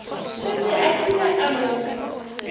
šetše a kile a mo